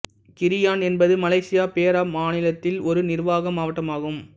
கிரியான் என்பது Malaysia Perak மாநிலத்தில் ஒரு நிர்வாக மாவட்டம் ஆகும்